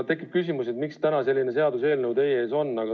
Tekib küsimus, miks täna selline seaduseelnõu teie ees on.